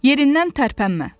Yerindən tərpənmə.